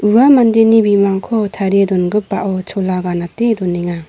ua mandeni bimangko tarie dongipao chola ganate donenga.